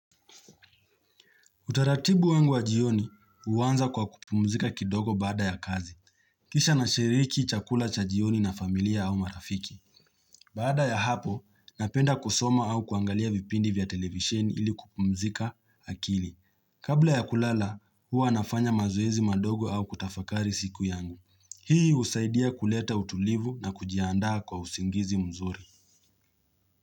Utaratibu wangu wa jioni huanza kwa kupumzika kidogo baada ya kazi. Kisha nashiriki chakula cha jioni na familia au marafiki. Baada ya hapo, napenda kusoma au kuangalia vipindi vya televisheni ili kupumzika akili. Kabla ya kulala, huwa nafanya mazoezi madogo au kutafakari siku yangu. Hii husaidia kuleta utulivu na kujiandaa kwa usingizi mzuri.